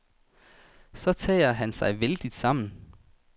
Så tager han sig vældigt sammen.